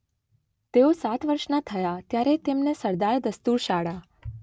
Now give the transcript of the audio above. તેઓ સાત વર્ષના થયા ત્યારે તેમને સરદાર દસ્તુર શાળા